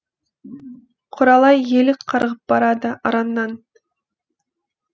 құралай елік қарғып барады араннан